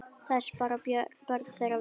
Þess bera börn þeirra vitni.